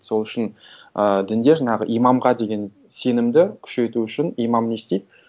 сол үшін ыыы дінде жаңағы имамға деген сенімді күшейту үшін имам не істейді